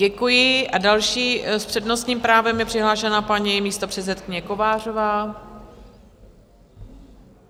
Děkuji a další s přednostním právem je přihlášená paní místopředsedkyně Kovářová.